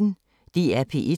DR P1